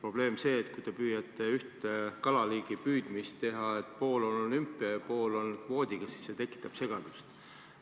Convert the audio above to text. probleem see, et kui te püüate ühe kalaliigi püüdmisel teha nii, et pool on olümpiasüsteem ja pool püütakse kvoodiga, siis see tekitab segadust.